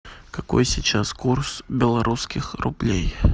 какой сейчас курс белорусских рублей